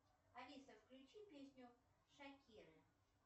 алиса включи песню шакиры